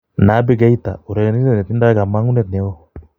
Naby Keita: Urerenindet netindo kamang'unet neon